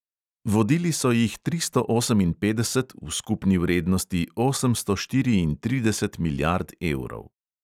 Vodili so jih tristo oseminpetdeset v skupni vrednosti osemsto štiriintrideset milijard evrov.